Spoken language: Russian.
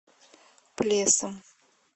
плесом